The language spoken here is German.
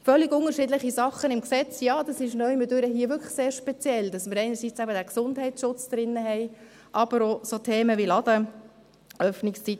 Völlig unterschiedliche Dinge im Gesetz, das ist hier irgendwie wirklich sehr speziell, weil wir einerseits eben den Gesundheitsschutz drin haben, andererseits aber auch Themen wie Ladenöffnungszeiten.